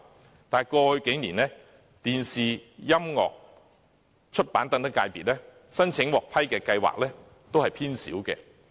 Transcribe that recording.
可是，在過去數年，電視、音樂和出版等界別申請獲批的計劃數量偏少。